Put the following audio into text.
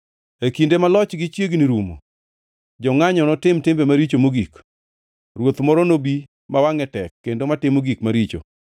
“E kinde ma lochgi chiegni rumo, jongʼanyo notim timbe maricho mogik, ruoth moro nobi ma wangʼe tek kendo matimo gik maricho.